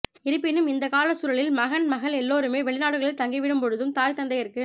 இருப்பினும் இந்தக்கால சூழலில் மகன் மகள் எல்லோருமே வெளி நாடுகளில் தங்கிவிடும்பொழுதும் தாய் தந்தையருக்கு